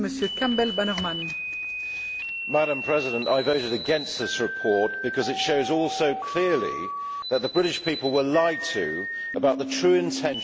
Madam President, I voted against this report because it shows all so clearly that the British people were lied to about the true intention of the European Union project.